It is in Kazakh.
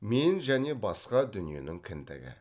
мен және басқа дүниенің кіндігі